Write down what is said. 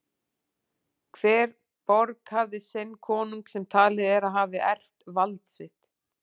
Hver borg hafði sinn konung sem talið er að hafi erft vald sitt.